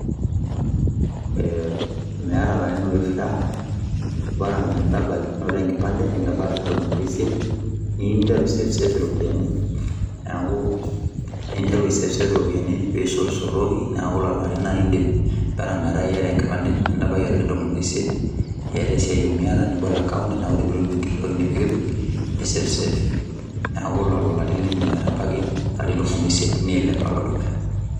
Ee meeta ilarin oifaa bora me ntabaiki noto enkipande nintabaya ilarin tomon o isiet niyu ninteru aisavesave iropiani. Neeku ninteru aisavesave iropiani piisotsotoki, neeku lelo arin ake iindim bora metaa iyata enkipande nintabyie ilarin tomon o isiet iyata esiai miyata nibol akount naa ore piitum enkiti toki nipikpik nisavesave. Neeku lelo larin liindim aitabaki ilarin tomon o isiet niilep alo dukuya.